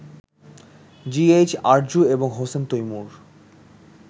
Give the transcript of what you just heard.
GH Arzu এবং হোসেন তৈমূর